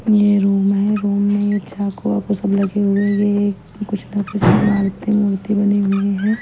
यह रूम है रूम में चाकू वाकू सब लगे हुए है ये एक कुछ न कुछ मालतें वूलते बनी हुई है।